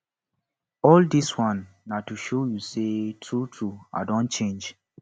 all dis one na to show you sey truetrue i don change